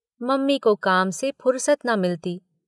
Mummy को काम से फुर्सत न मिलती।